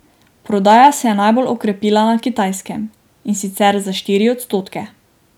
Prodaja se je najbolj okrepila na Kitajskem, in sicer za štiri odstotke.